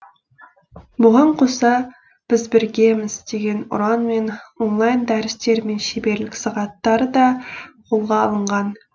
бұған қоса біз біргеміз деген ұранмен онлайн дәрістер мен шеберлік сағаттары да қолға алынған